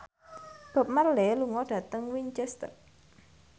Bob Marley lunga dhateng Winchester